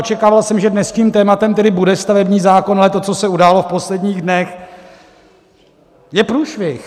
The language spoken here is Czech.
Očekával jsem, že dnes tím tématem tedy bude stavební zákon, ale to, co se událo v posledních dnech, je průšvih.